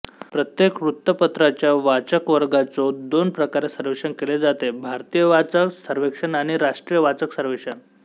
प्रत्येक वृत्तपत्राच्या वाचकवर्गाचो दोन प्रकारे सर्वेक्षण केले जाते भारतीय वाचक सर्वेक्षण आणि राष्ट्रीय वाचक सर्वेक्षण